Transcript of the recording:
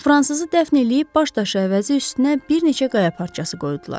Fransızı dəfn eləyib baş daşı əvəzi üstünə bir neçə qaya parçası qoydular.